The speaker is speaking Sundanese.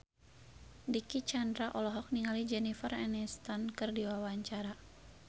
Dicky Chandra olohok ningali Jennifer Aniston keur diwawancara